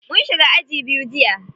Mun shiga aji biyu jiya.